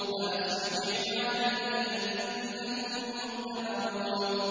فَأَسْرِ بِعِبَادِي لَيْلًا إِنَّكُم مُّتَّبَعُونَ